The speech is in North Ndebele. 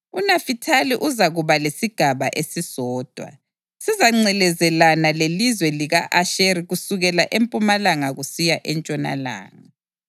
UNafithali uzakuba lesigaba esisodwa; sizangcelezelana lelizwe lika-Asheri kusukela empumalanga kusiya entshonalanga.